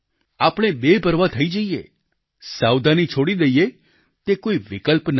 આપણે બેપરવાહ થઈ જઈએ સાવધાની છોડી દઈએ તે કોઈ વિકલ્પ નથી